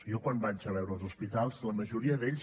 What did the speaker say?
jo quan vaig a veure els hospitals la majoria d’ells